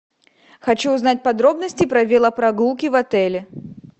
хочу узнать подробности про велопрогулки в отеле